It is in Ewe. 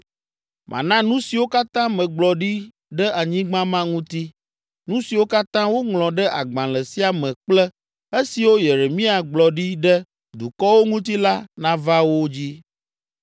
Mana nu siwo katã megblɔ ɖi ɖe anyigba ma ŋuti, nu siwo katã woŋlɔ ɖe agbalẽ sia me kple esiwo Yeremia gblɔ ɖi ɖe dukɔwo ŋuti la nava wo dzi.